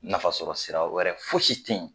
Nafasɔrɔsira wɛrɛ fosi tɛ yen